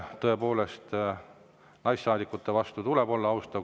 Tõepoolest, naissaadikute vastu tuleb olla austav.